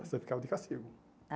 Você ficava de castigo.